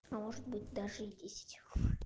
а может быть даже и десять